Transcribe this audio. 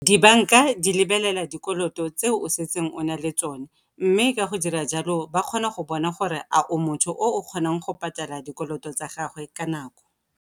Dibanka di lebelela dikoloto tseo o setseng o na le tsone, mme ka go dira jalo ba kgona go bona gore a o motho o o kgonang go patela dikoloto tsa gagwe ka nako.